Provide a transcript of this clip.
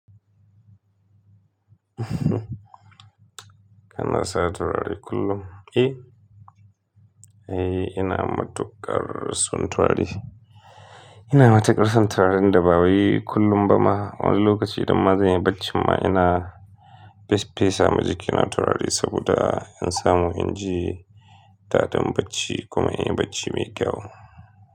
Kana sa turare kullum? Eh, eh ina matukar son turare. Ina matukar son turaren da ba wai kullum bana. Wani lokaci idan ma zan yi bacci ma ina fes fesa ma jikina turare saboda in samu inji daɗin bacci kuma in yi bacci mai kyau.